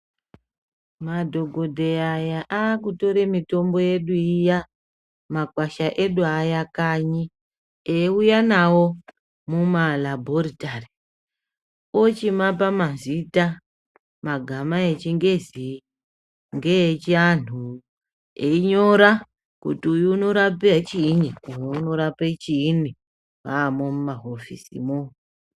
Madhokodheya aya akutore mitombo yedu iya makwasha edu aya kanyi eiuya nawo mumalabhoritari ochimapa mazita magama echingezi ngeechianhu einyora kuti uyu unorape chiinyi uyu unorape chiinyi vaamo mumahofisimo.